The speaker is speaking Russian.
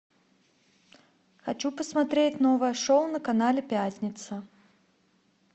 хочу посмотреть новое шоу на канале пятница